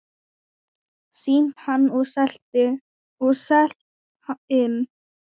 Sýnt hann og selt inn.